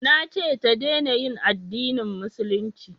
Na ce ta dena yin addinin musulunci